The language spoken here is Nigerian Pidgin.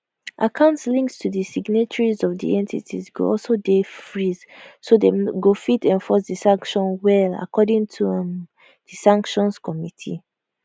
accounts linked to di signatories of di entities go also dey freeze so dem go fit enforce di sanction well according to um di sanctions committee